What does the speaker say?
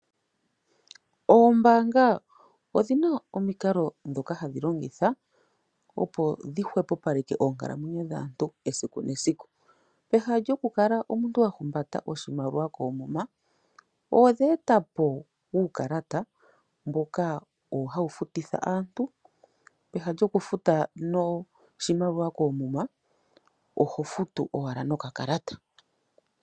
Oombaanga ondhina omikalo dhoka handhi longitha opo dhihwepopalelke onkalo esiku nesiku. Pehala lyomuu tahumbata oshimaliwa koomuma odheetapo uukalata owo hawu fututha aantu peha lyokufutith oshimaliwa koomuma oho futu owala nokakalata.